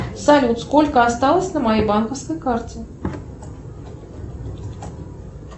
салют сколько осталось на моей банковской карте